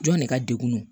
Jɔn ne ka degun